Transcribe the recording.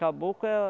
Caboclo é